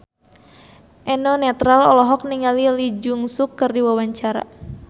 Eno Netral olohok ningali Lee Jeong Suk keur diwawancara